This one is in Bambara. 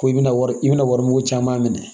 Ko i bɛna wari i bɛna wari mugu caman minɛ